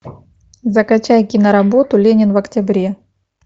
закачай киноработу ленин в октябре